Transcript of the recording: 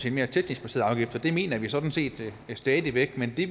en mere teknisk baseret afgift det mener vi sådan set stadig væk men i